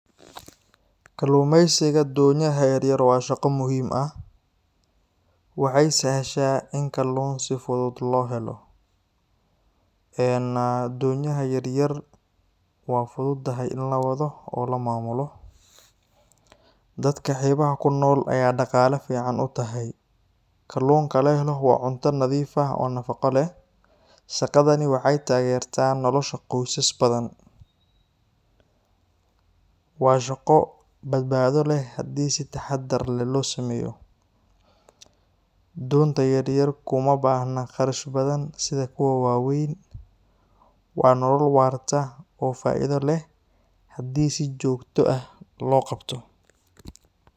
Kalluumeysiga doonyaha yar yar waa shaqo muhiim ah, Waxay sahashaa in kalluun si fudud loo helo. Eeen doonyaha yar yar waa fududahay in la wado oo la maamulo. Dadka xeebaha ku nool ayay dhaqaale fiican u tahay. Kalluunka la helo waa cunto nadiif ah oo nafaqo leh. Shaqadani waxay taageertaa nolosha qoysas badan. Waa shaqo badbaado leh haddii si taxadar leh loo sameeyo. Doonta yar yar kuma baahna kharash badan sida kuwa waaweyn. Waa nolol waarta oo faa’iido leh haddii si joogto ah loo qabto.